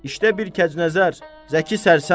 İşdə bir kəcnəzər, zəki sərsəm.